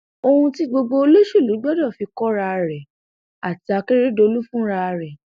ohun tí gbogbo olóṣèlú gbọdọ fi kóra rèé àti àkérédélọlù fúnra rẹ